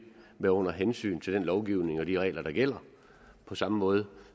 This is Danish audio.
være under hensyn til den lovgivning og de regler der gælder på samme måde